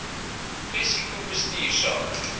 risiko bestuur sake